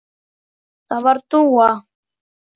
Það var Dúa.